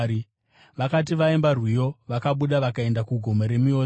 Vakati vaimba rwiyo, vakabuda vakaenda kuGomo reMiorivhi.